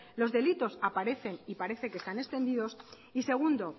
los delitos aparecen y parece que están extendidos y segundo